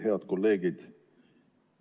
Head kolleegid!